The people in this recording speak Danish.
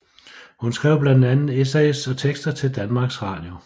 Hun skrev blandt andet essays og tekster til Danmarks radio